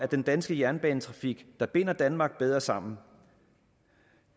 den danske jernbanetrafik binder danmark bedre sammen